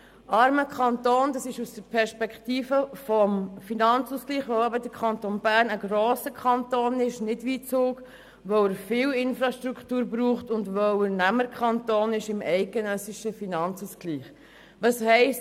Der Kanton Bern ist aus der Perspektive des Finanzausgleichs ein armer Kanton, weil er im Gegensatz zu Zug ein grosser Kanton ist, viel Infrastruktur benötigt und deshalb Nehmerkanton im eidgenössischen Finanzausgleich ist.